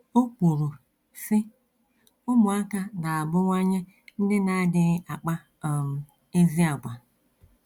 O kwuru, sị: “ Ụmụaka na - abụwanye ndị na - adịghị akpa um ezi àgwà.